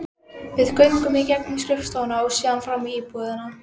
Við göngum í gegnum skrifstofuna og síðan fram í búðina.